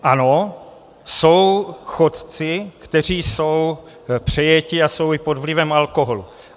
Ano, jsou chodci, kteří jsou přejeti a jsou i pod vlivem alkoholu.